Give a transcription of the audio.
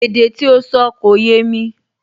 Èdè tí ó sọ kò yémi